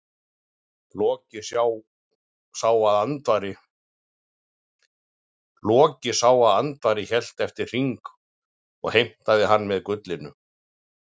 Loki sá að Andvari hélt eftir hring og heimtaði hann með gullinu.